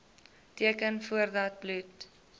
teken voordat bloed